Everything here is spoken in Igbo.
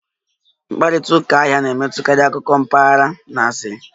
Mkparịta ụka ahịa na-emetụtakarị akụkọ mpaghara na asịrị